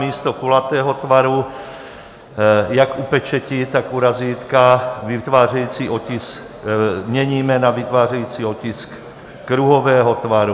Místo kulatého tvaru jak u pečeti, tak u razítka vytvářející otisk měníme na "vytvářející otisk kruhového tvaru".